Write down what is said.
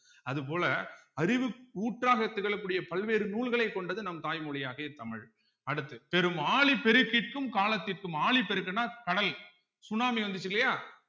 அது போல அறிவு ஊற்றாக திகழக்கூடிய பல்வேறு நூல்களை கொண்டது நம் தாய்மொழியாகிய தமிழ் அடுத்து பெரும் ஆழி பெருக்கிக்கும் காலத்திற்கும் ஆழிப்பெருக்குன்னா கடல் சுனாமி வந்துச்சு இல்லையா